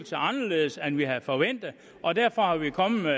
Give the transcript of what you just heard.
sig anderledes end vi havde forventet og derfor er vi kommet